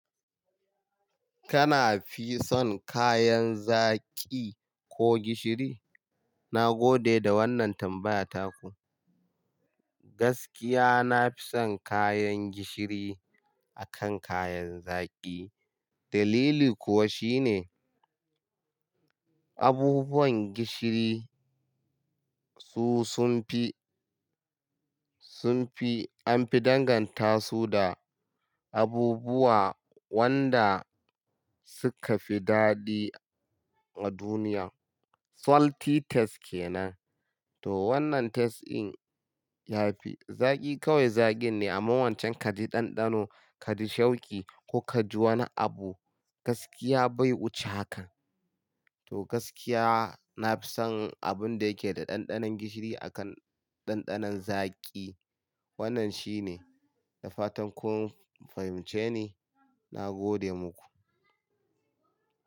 Kana fi son kayan zaƙi ko gishiri? Na gode da wannan tambaya taku. Gaskiya na fi son kayan gishiri akan kayan zaƙi. Dalili kuwa shine abubuwan gishiri su sun fi, sun fi an fi danganta su da abubuwa wanda suka fi daɗi a duniya. Salty taste kenan. To wannan taste in yafi. Zaƙi kawai zaƙin ne amma wancan kaji ɗanɗano, kaji shauki ko kaji wani abu gaskiya bai wuce hakan. To gaskiya na fi son abun da yake da ɗanɗanon gishiri akan ɗanɗanon zaƙi. Wannan shi ne. Da fatan kun fahimce ni. Na gode muku.